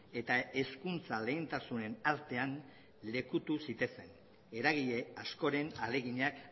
eta hezkuntza lehentasunen artean lekutu zitezen eragile askoren ahaleginak